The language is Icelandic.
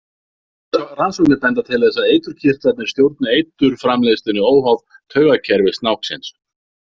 Rannsóknir benda til þess að eiturkirtlarnir stjórni eiturframleiðslunni óháð taugakerfi snáksins.